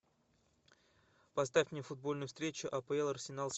поставь мне футбольную встречу апл арсенал